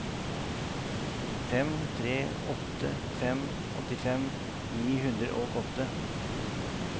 fem tre åtte fem åttifem ni hundre og åtte